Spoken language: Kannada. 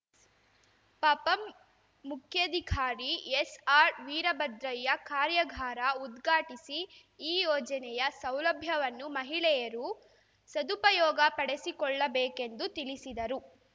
ಪಪಂ ಮುಖ್ಯಾಧಿಕಾರಿ ಎಸ್‌ಆರ್‌ ವೀರಭದ್ರಯ್ಯ ಕಾರ್ಯಾಗಾರ ಉದ್ಘಾಟಿಸಿ ಈ ಯೋಜನೆಯ ಸೌಲಭ್ಯವನ್ನು ಮಹಿಳೆಯರು ಸದುಪಯೋಗ ಪಡೆಸಿಕೊಳ್ಳಬೇಕೆಂದು ತಿಳಿಸಿದರು